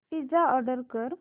pizza order कर